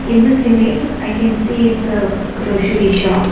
in this image i can see it's a groshery shop.